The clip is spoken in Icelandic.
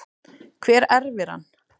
Hver erfir hann?